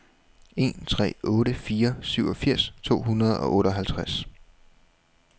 en tre otte fire syvogfirs to hundrede og otteoghalvtreds